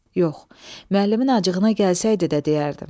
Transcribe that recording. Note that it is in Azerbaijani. Yox, müəllimin acığına gəlsəydi də deyərdim.